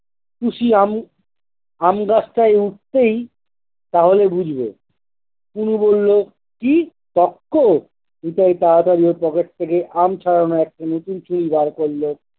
তুশিয়ামু আম গাছটায় উঠতেই তাহলে বুঝব। কুনি বললো- কি? টক্কর? নিতাই তাড়াতাড়ি ওর pocket থেকে আম ছাড়ানো একটি নতুন ছুরি বার করলো